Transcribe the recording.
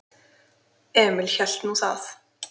Emil hélt nú það.